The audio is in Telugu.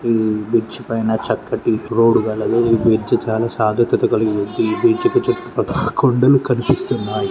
బ్రిడ్జి పైన చక్కటి రోడ్ కలదు ఈ బ్రిడ్జ్ చాలా సార్గతిక కలిగి ఉంది ఈ బ్రిడ్జ్ కి చుట్టుపక్కల కొండల కనిపిస్తున్నాయి.